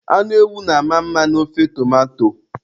Anụ ewu na-ama mma n'ofe tomato.